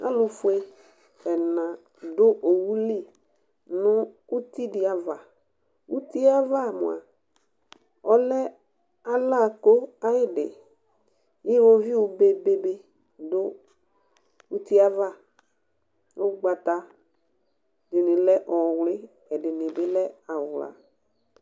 Alʋ fue ɛna dʋ owu li nʋ uti dɩ avaUtie ava mʋa ,ɔlɛ ala kʋ ayɩdɩIwoviu bebe nɩ dʋ utie ava, ʋgbata ɛdɩnɩ lɛ ɔwlɩ, ɛdɩnɩ lɛ awla